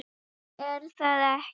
er það ekki?